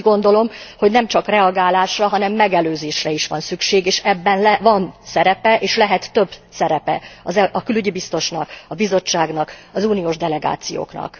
És én úgy gondolom, hogy nem csak reagálásra, hanem megelőzésre is van szükség és ebben van szerepe és lehet több szerepe a külügyi biztosnak, a Bizottságnak, az uniós delegációknak.